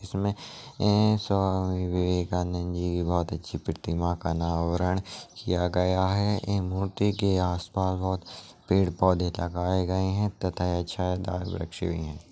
इसमें ए-- स्वामी विवेकानंद जी की बहुत अच्छी पर्त्रिमा का नवर्न किया गया है इन मूर्ति के आस-पास बहुत पेड़ पोधे लगाये गए है तथा वृक्ष भी है।